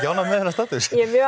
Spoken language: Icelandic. ánægð með þennan status ég